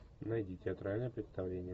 найди театральное представление